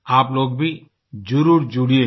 आप लोग भी जरुर जुड़ियेगा